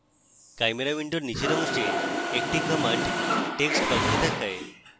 chimera window নীচের অংশে একটি command text box দেখায়